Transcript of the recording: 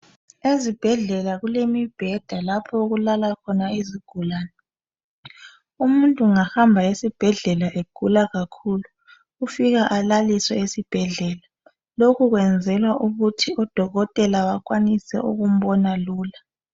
Ezibhedlela kulemibheda lapho okulala khona izigulani umuntu ungahamba esibhedlela egula kakhulu ufika alaliswe esibhedlela lokhu kwenzelwa ukuthi udokotela akwanise ukumbona lula